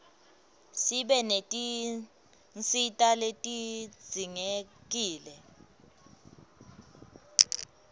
sibe netinsita letidzingekile